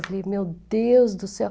Eu falei, meu Deus do céu.